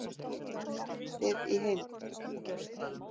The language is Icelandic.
Frumvarpið í heild